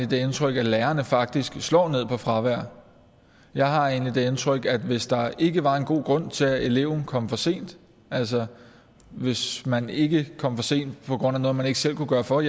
det indtryk at lærerne faktisk slår ned på fravær jeg har egentlig det indtryk at hvis der ikke var en god grund til at eleven kom for sent altså hvis man ikke kom for sent på grund af noget man ikke selv kunne gøre for